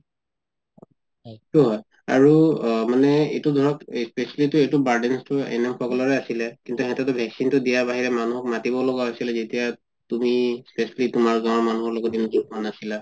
হয় আৰু মানে এইটো ধৰক specially তো এইটো burden তো NM সকলোৰে আছিলে কিন্তু সেহেতো vaccine তো দিয়া বাহিৰে মানুহ মাতিব লাগা হৈছিলে যেতিয়া তুমি safely তুমাৰ গাওঁৰ মানুহৰ লগত আছিলা